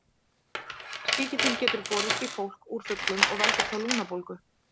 Sýkillinn getur borist í fólk úr fuglum og veldur þá lungnabólgu.